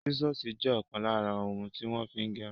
Sísọ̀sì jẹ ọkan lára ohun tí wọ́n fí ń gẹrun.